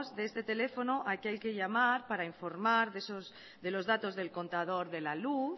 de este teléfono al que hay que llamar para informar de los datos del contador de la luz